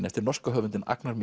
eftir norska höfundinn Agnar